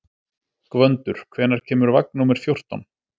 Gvöndur, hvenær kemur vagn númer fjórtán?